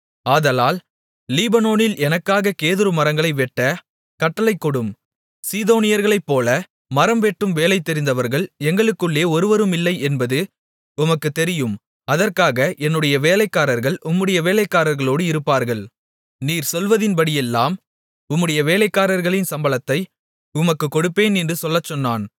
ஆதலால் லீபனோனில் எனக்காக கேதுரு மரங்களை வெட்ட கட்டளை கொடும் சீதோனியர்களைப்போல மரம்வெட்டும் வேலை தெரிந்தவர்கள் எங்களுக்குள்ளே ஒருவருமில்லை என்பது உமக்குத் தெரியும் அதற்காக என்னுடைய வேலைக்காரர்கள் உம்முடைய வேலைக்காரர்களோடு இருப்பார்கள் நீர் சொல்வதின்படியெல்லாம் உம்முடைய வேலைக்காரர்களின் சம்பளத்தை உமக்குக் கொடுப்பேன் என்று சொல்லச் சொன்னான்